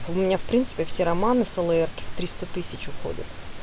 у меня в принципе все романы в слр в триста тысяч уходят